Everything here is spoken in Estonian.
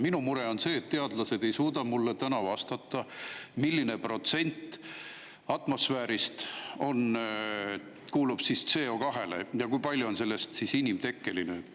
Minu mure on see, et teadlased ei suuda mulle vastata, milline protsent atmosfäärist kuulub CO2‑le ja kui suur osa sellest on inimtekkeline.